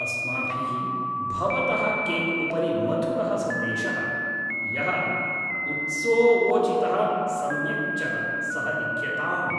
अस्माभिः भवतः केक्उपरि मधुरः सन्देशः, यः उत्सोवोचितः सम्यक् च सः लिख्यताम्।